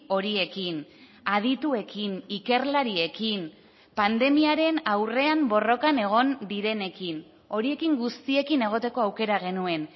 horiekin adituekin ikerlariekin pandemiaren aurrean borrokan egon direnekin horiekin guztiekin egoteko aukera genuen